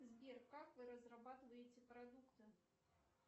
сбер как вы разрабатываете продукты